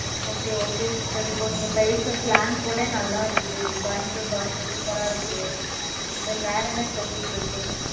okay okay sister இப்போ, நீங்க slang கூட நல்லா இருக்கு. கோயம்புத்தூர் பாஷை super ஆ இருக்கு. Then வேற என்ன special இருக்கு